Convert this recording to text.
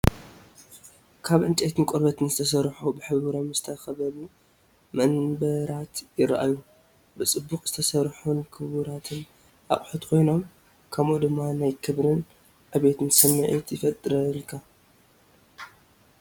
ካብ ዕንጨይትን ቆርበትን ዝተሰርሑ፡ ብሕብሮም ዝተኸበቡ መንበራት ይረኣዩ። ብጽቡቕ ዝተሰርሑን ክቡራትን ኣቑሑት ኮይኖም ፤ ከምኡ ድማ ናይ ክብርን ዕቤትን ስምዒት ይፈጥረልካ።